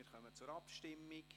Wir kommen zur Abstimmung.